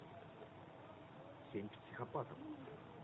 семь психопатов